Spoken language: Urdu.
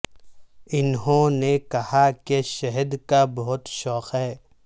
انہوں نے کہا کہ شہد کا بہت شوق ہے